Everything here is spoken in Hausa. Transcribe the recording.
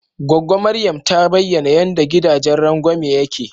Gwaggo Maryam ta bayana yanda gidajen rangwame yake.